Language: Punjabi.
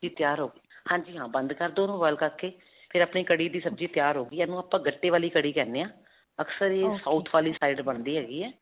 ਸਬਜ਼ੀ ਤਿਆਰ ਹੋ ਗਈ. ਹਾਂਜੀ. ਹਾਂ ਬੰਦ ਕਰ ਦੋ ਉਹਨੂੰ boil ਕਰਕੇ ਫਿਰ ਅਪਨੀ ਕੜੀ ਦੀ ਸਬਜ਼ੀ ਤਿਆਰ ਹੋ ਗਈ ਹੈ. ਇਹਨੂੰ ਆਪਾਂ ਗੱਟੇ ਵਾਲੀ ਕੜੀ ਕਹਿੰਦੇ ਹਾਂ. ਅਕਸਰ ਇਹ south ਵਾਲੀ side ਬਣਦੀ ਹੈਗੀ ਹੈ.